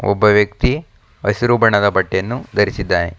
ಒಬ್ಬ ವ್ಯಕ್ತಿ ಹಸಿರು ಬಣ್ಣದ ಬಟ್ಟೆಯನ್ನು ಧರಿಸಿದ್ದಾನೆ.